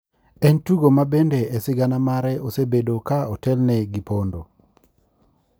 En tugo ma bende e sigana mare osebedo ka otelne gi pondo,